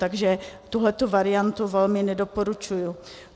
Takže tuhletu variantu velmi nedoporučuji.